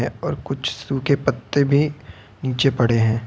और कुछ सूखे पत्ते भी नीचे पड़े हैं।